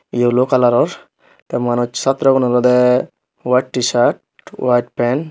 yellow kalaror tey manus chatragun olwdey white tee shirt white pan.